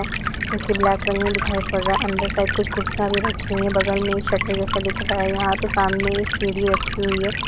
जो कि black colour में दिखाई पड़ रहा है। अंदर साइड कुछ कुर्सियाँ भी रखी हुई हैं। बगल में एक शटर जैसा दिख रहा है। यहाँ पे सामने एक सीढ़ी रखी हुई है।